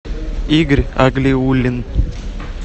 игорь аглиуллин